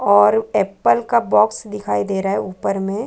और ऍपल का बॉक्स दिखाई दे रहा है उपर में--